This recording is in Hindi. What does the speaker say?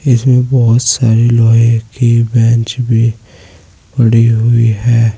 इसमें बहुत सारे लोहे की बेंच भी पड़ी हुई है।